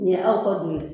Nin ye aw ka du ye